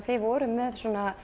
þið voruð með